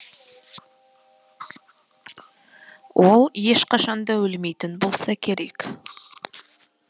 ол ешқашанда өлмейтін болса керек